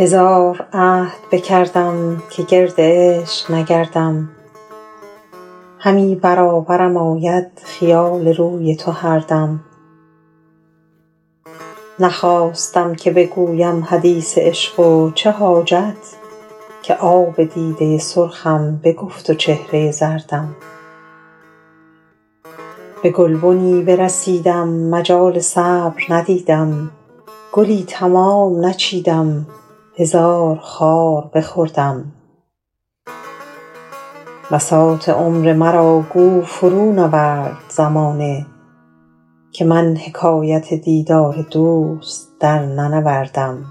هزار عهد بکردم که گرد عشق نگردم همی برابرم آید خیال روی تو هر دم نخواستم که بگویم حدیث عشق و چه حاجت که آب دیده سرخم بگفت و چهره زردم به گلبنی برسیدم مجال صبر ندیدم گلی تمام نچیدم هزار خار بخوردم بساط عمر مرا گو فرونورد زمانه که من حکایت دیدار دوست درننوردم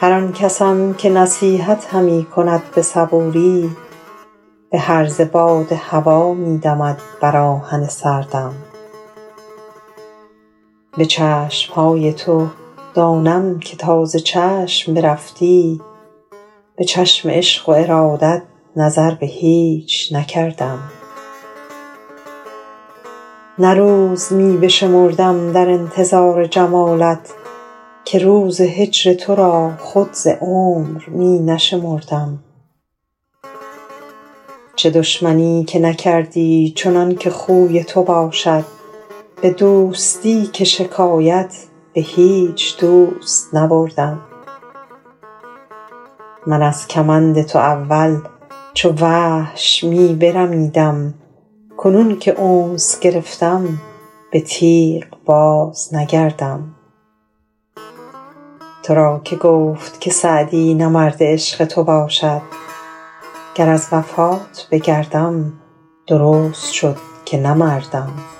هر آن کسم که نصیحت همی کند به صبوری به هرزه باد هوا می دمد بر آهن سردم به چشم های تو دانم که تا ز چشم برفتی به چشم عشق و ارادت نظر به هیچ نکردم نه روز می بشمردم در انتظار جمالت که روز هجر تو را خود ز عمر می نشمردم چه دشمنی که نکردی چنان که خوی تو باشد به دوستی که شکایت به هیچ دوست نبردم من از کمند تو اول چو وحش می برمیدم کنون که انس گرفتم به تیغ بازنگردم تو را که گفت که سعدی نه مرد عشق تو باشد گر از وفات بگردم درست شد که نه مردم